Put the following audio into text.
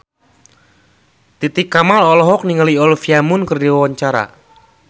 Titi Kamal olohok ningali Olivia Munn keur diwawancara